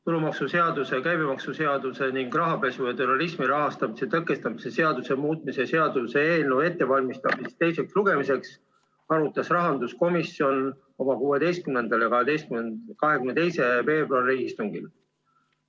Tulumaksuseaduse, käibemaksuseaduse ning rahapesu ja terrorismi rahastamise tõkestamise seaduse muutmise seaduse eelnõu ettevalmistamist teiseks lugemiseks arutas rahanduskomisjon oma 16. ja 22. veebruari istungil.